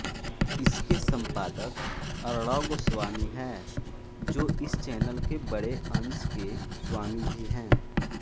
इसके सम्पादक अर्णव गोस्वामी है जो इस चैनेल के बड़े अंश के स्वामी भी हैं